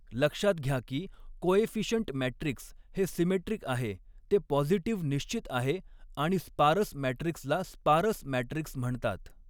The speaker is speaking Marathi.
लक्षात घ्या की कोएफिशियंट मॅट्रिक्स हे सिमेट्रिक आहे ते पॉझिटिव्ह निश्चित आहे आणि स्पारस मॅट्रिक्सला स्पारस मॅट्रिक्स म्हणतात.